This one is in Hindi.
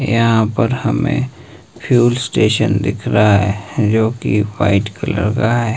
यहां पर हमें फ्यूल स्टेशन दिख रहा है जो कि वाइट कलर का है।